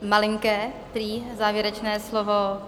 Malinké prý závěrečné slovo.